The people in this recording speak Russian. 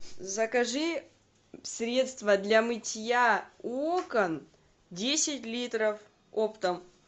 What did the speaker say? закажи средство для мытья окон десять литров оптом